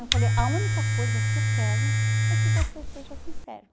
Eu falei, a única coisa que eu quero é que você seja sincera.